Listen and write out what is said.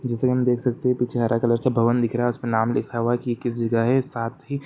जैसे हम देख सकते है पीछे हरा कलर का भवन दिख रहा है उस पे नाम लिखा साथी--